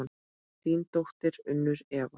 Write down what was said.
Þín dóttir, Unnur Eva.